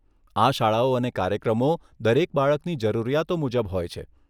આ શાળાઓ અને કાર્યક્રમો દરેક બાળકની જરૂરિયાતો મુજબ હોય છે.